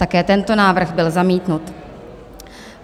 Také tento návrh byl zamítnut.